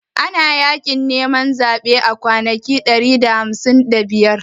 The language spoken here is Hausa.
Ana Yaƙin neman zaɓe a Najeriya ma kwanaki ɗari da hamsin da biyar